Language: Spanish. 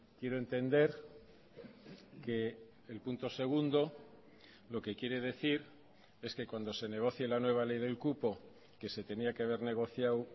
quiero entender que el punto segundo lo que quiere decir es que cuando se negocie la nueva ley del cupo que se tenía que haber negociado